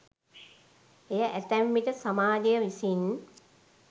එය ඇතැම් විට සමාජය විසින්